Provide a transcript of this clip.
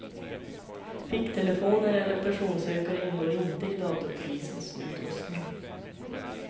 Ficktelefoner eller personsökare ingår inte i datorpolisens utrustning.